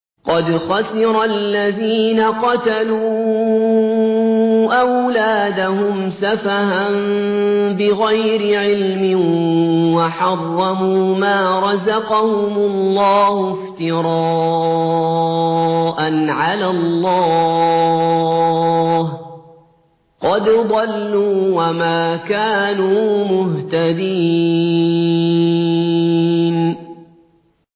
قَدْ خَسِرَ الَّذِينَ قَتَلُوا أَوْلَادَهُمْ سَفَهًا بِغَيْرِ عِلْمٍ وَحَرَّمُوا مَا رَزَقَهُمُ اللَّهُ افْتِرَاءً عَلَى اللَّهِ ۚ قَدْ ضَلُّوا وَمَا كَانُوا مُهْتَدِينَ